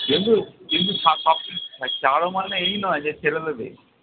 কিন্তু কিন্তু ছা সবকিছু ছা ছাড়ো মানে এই নয় যে ছেড়ে দেবে।